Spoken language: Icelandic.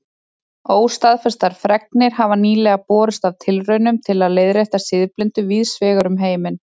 Óstaðfestar fregnir hafa nýlega borist af tilraunum til að leiðrétta siðblindu víðs vegar um heiminn.